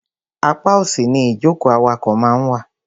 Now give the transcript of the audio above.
Apá òsì ni ìjókòó awakọ̀ máa ń wà.